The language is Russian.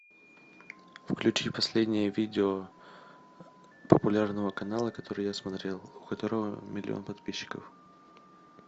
включи последнее видео популярного канала который я смотрел у которого миллион подписчиков